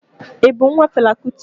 Ị bụ nwa Fela Kuti?